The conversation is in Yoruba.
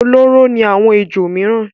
Olóró ni àwọn ejò mìíràn.